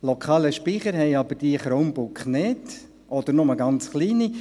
Lokalen Speicher haben aber diese Chromebooks nicht, oder nur ganz kleine.